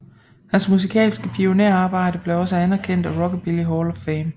Hans musikalske pionærarbejde blev også anerkendt af Rockabilly Hall of Fame